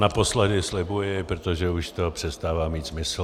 Naposledy, slibuji, protože už to přestává mít smysl.